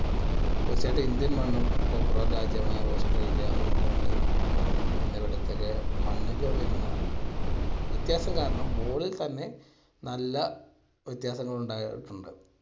തീർച്ചയായിട്ടും ഇന്ത്യൻ മണ്ണും popular രാജ്യമായ ഓസ്ട്രേലിയ, ഇംഗ്ലണ്ട് എന്നിവിടത്തിലെ മണ്ണില് വരുന്ന വ്യത്യാസം കാരണം ball ൽ തന്നെ നല്ല വ്യത്യാസങ്ങൾ ഉണ്ടായിട്ടുണ്ട്.